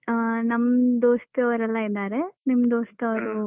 ಅಂದ್ರೆ ಅಹ್ ನಮ್ದು ದೋಸ್ತಿಯವರೆಲ್ಲಾ ಇದ್ದಾರೆ ನಿಮ್ ದೋಸ್ತಿ